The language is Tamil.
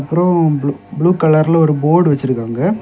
அப்புறம் ப்ளூ கலர்ல ஒரு போர்டு வச்சிருக்காங்க.